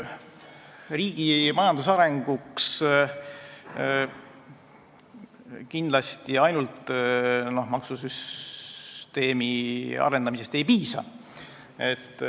Riigi majanduse arenguks kindlasti ainult maksusüsteemi arendamisest ei piisa.